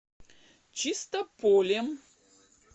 чистополем